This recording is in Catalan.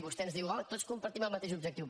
vostè ens diu oh tots compartim el mateix objectiu